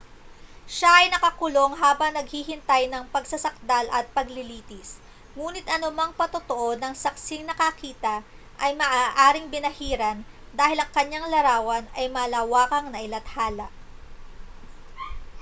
siya ay nakakulong habang naghihintay ng pagsasakdal at paglilitis nguni't anumang patotoo ng saksing nakakita ay maaaring binahiran dahil ang kaniyang larawan ay malawakang nailathala